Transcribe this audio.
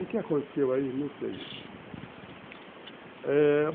O que aconteceu aí, não sei, eh